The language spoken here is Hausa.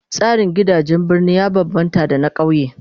Tsarin gidajen birni ya bambamta da na kauye